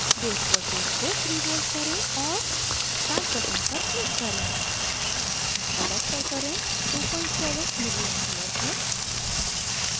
base voltage को 3v करें और start button click करें collector current 27ma है